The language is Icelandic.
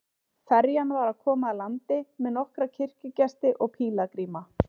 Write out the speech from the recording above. Ferjan var að koma að landi með nokkra kirkjugesti og pílagríma.